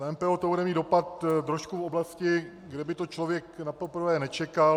Na MPO to bude mít dopad trošku v oblasti, kde by to člověk napoprvé nečekal.